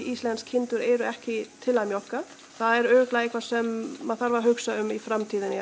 íslenskar kindur eru ekki til að mjólka það er örugglega eitthvað sem maður þarf að hugsa um í framtíðinni